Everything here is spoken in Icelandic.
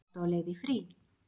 Ertu á leið í frí?